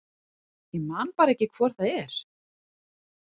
Ég man bara ekki hvor það er.